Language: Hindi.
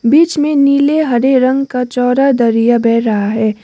बीच में नीले हरे रंग का चौरा दरिया बह रहा है।